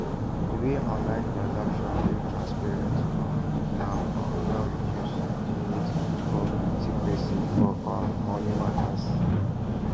di way online transactions dey transparent um now um don reduce di need for secrecy for um moni matters